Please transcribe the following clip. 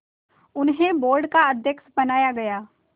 उन्हें बोर्ड का अध्यक्ष बनाया गया